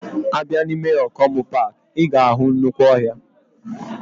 Abia na ime Okomu park, iga ahu nnukwu ohia.